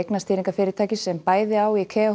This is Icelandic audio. eignastýringarfyrirtækis sem bæði á í